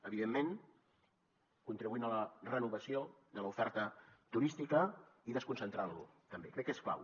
evidentment contribuint a la renovació de l’oferta turística i desconcentrant lo també crec que és clau